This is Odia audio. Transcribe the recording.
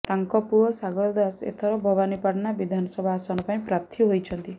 ତାଙ୍କ ପୁଅ ସାଗର ଦାସ ଏଥର ଭବାନୀପାଟଣା ବିଧାନସଭା ଆସନ ପାଇଁ ପ୍ରାର୍ଥୀ ହୋଇଛନ୍ତି